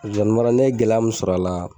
Zozani mara ne ye gɛlɛ mun sɔrɔ a la